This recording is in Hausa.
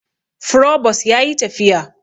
Frobos yayi tafiya